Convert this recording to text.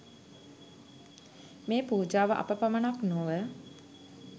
මේ පූජාව අප පමණක් නොව